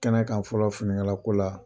Kɛnɛ kan a fɔlɔ finikalako la.